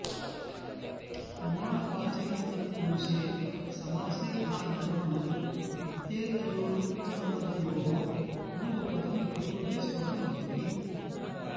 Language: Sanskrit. प्रमाणवाचिनि तत्पुरुषे समासे गाध लवण इत्येतयोरुत्तरपदयोः पूर्वपदं प्रकृतिस्वरं भवति